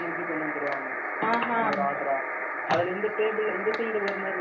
அதுல இந்த table இந்த side ஒரு மாதிரி level வைப்பாங்க அதே மாதிரி அந்த side இதுலயும் வைப்பாங்க